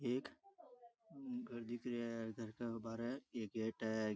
एक घर दिख रहिया है घर के बारे एक गेट है।